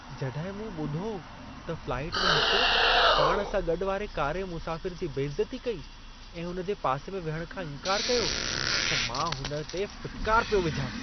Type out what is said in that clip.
जंॾहिं मूं ॿुधो त फ्लाइट में हिक पाण सां गॾु वारे कारे मुसाफ़िर जी बेइज़ती कई ऐं हुन जे पासे में विहण खां इंकारु कयो, त मां हुन ते फिटकार पियो विझां।